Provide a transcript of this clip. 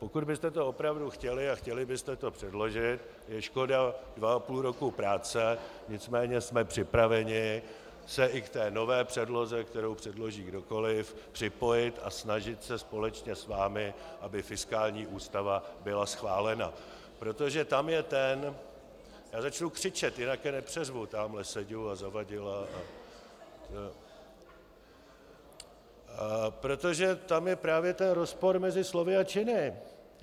Pokud byste to opravdu chtěli a chtěli byste to předložit, je škoda dva a půl roku práce, nicméně jsme připraveni se i k té nové předloze, kterou předloží kdokoliv, připojit a snažit se společně s vámi, aby fiskální ústava byla schválena, protože tam je ten - já začnu křičet, jinak je nepřeřvu tamhle Seďu a Zavadila - protože tam je právě ten rozpor mezi slovy a činy.